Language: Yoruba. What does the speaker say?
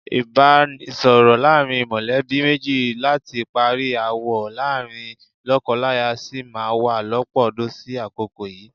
Ìbánisọ̀rọ̀ láàrin mọ̀lẹ́bí méjì láti parí aáwọ̀ láàrin lọ́kọláya sì má wá lọ́pọ̀ ọdún sí àkókò yìí.